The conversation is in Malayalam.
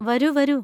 വരൂ വരൂ.